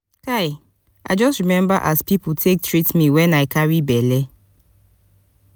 kai i just remember as pipu take treat me wen i carry belle.